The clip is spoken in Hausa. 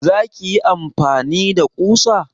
Za ka yi amfani da kusa?